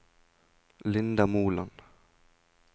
Linda Moland